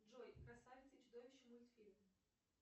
джой красавица и чудовище мультфильм